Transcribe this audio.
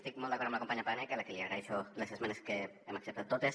estic molt d’acord amb la companya paneque a la que li agraeixo les esmenes que les hem acceptat totes